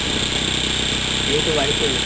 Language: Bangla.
এইতো বাড়িতে